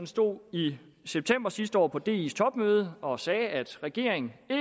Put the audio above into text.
stod i september sidste år på dis topmøde og sagde at regeringen